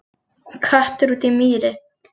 Köttur út í mýri